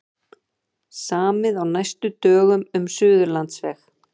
Samið á næstu dögum um Suðurlandsveg